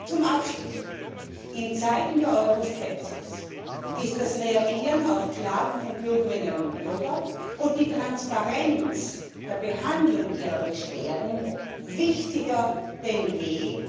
Zum Abschluss In Zeiten der Euroskepsis ist das Reagieren auf Klagen von Bürgerinnen und Bürgern und die Transparenz bei der Behandlung ihrer Beschwerden wichtiger denn je!